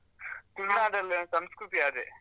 ತುಳುನಾಡಲ್ ಒಂದ್ ಸಂಸ್ಕೃತಿ ಅದೇ.